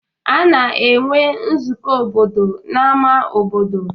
A na-enwe nzukọ obodo n'ama obodo.